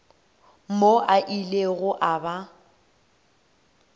mo a ilego a ba